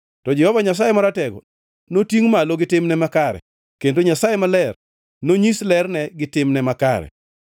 To Jehova Nyasaye Maratego notingʼ malo gi timne makare, kendo Nyasaye maler nonyis lerne gi timne makare.